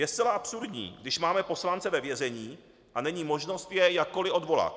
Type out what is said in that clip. Je zcela absurdní, když máme poslance ve vězení a není možnost jej jakkoliv odvolat.